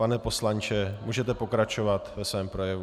Pane poslanče, můžete pokračovat ve svém projevu.